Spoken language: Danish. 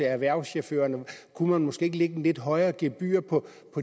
erhvervschaufførerne kunne man måske ikke lægge et lidt højere gebyr på